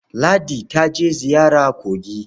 Ladi ta je ziyara kogi.